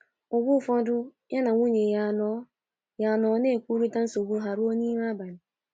Mgbe ụfọdụ ya na nwunye ya anọ ya anọ na - ekwurịta nsogbu ha ruo n’ime abalị.